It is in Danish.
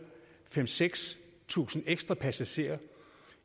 fem tusind seks tusind ekstra passagerer